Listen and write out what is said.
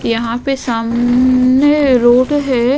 यहां पे साम म ने रोड है।